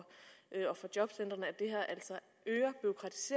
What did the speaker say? fra jobcentrene